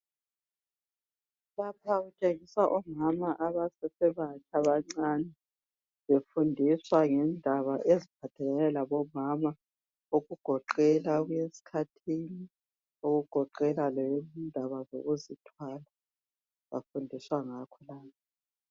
Lapha kutshengiswa omama abasesebatsha abancani befundiswa ngendaba eziphathelane labomama okugoqela ukuyeskhathini okugoqela lendaba zokuzithwala bafundiswa ngakho.